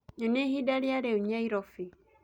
nyonĩaĩhĩnda rĩa riu nyairobi